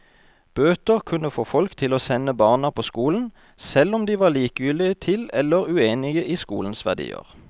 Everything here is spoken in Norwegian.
Bøter kunne få folk til å sende barna på skolen, selv om de var likegyldige til eller uenige i skolens verdier.